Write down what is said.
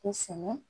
Kosɛbɛ